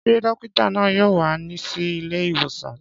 Ṣé dókítà náà yóò wá sí ilé ìwòsàn?